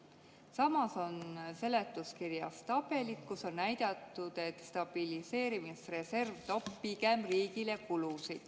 Samas on seletuskirjas tabelid, kus on näidatud, et stabiliseerimisreserv pigem toob riigile kulusid.